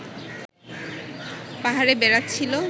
পাহাড়ে বেড়াচ্ছিল